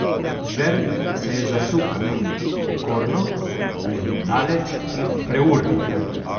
Zver se je zasukala okorno, predaleč in preurno.